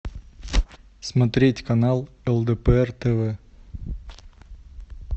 смотреть канал лдпр тв